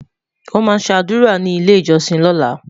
wón má sé ádùrá ní ilẹ ìjósìn lola